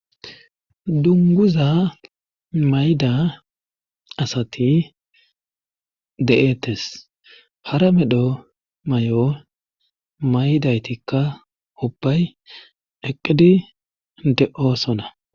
dunguza mayda asati de7ettes hara medho may7o maydaytikka obbay eqqidi de7osona